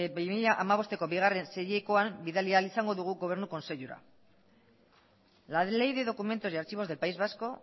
bi mila hamabosteko bigarren seihilekoan bidali ahal izango dugu gobernu kontseilura la ley de documentos y archivos del país vasco